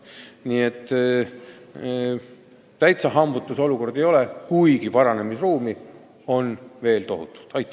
Nii et täitsa hambutu see olukord ei ole, kuigi paranemisruumi on veel tohutult.